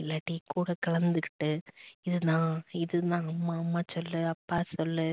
இல்லாட்டி கூட கலந்துக்கிட்டு இது நான் இதுதான் அம்மா அம்மா சொல்லு அப்பா சொல்லு